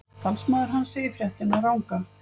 Talsmaður hans segir fréttina ranga